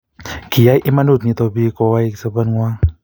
kiyai imanut nito biik kowai sobengwang